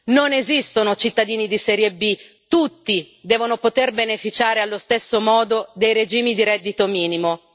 Non esistono cittadini di serie B, tutti devono poter beneficiare allo stesso modo dei regimi di reddito minimo.